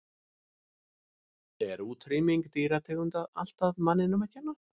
Er útrýming dýrategunda alltaf manninum að kenna?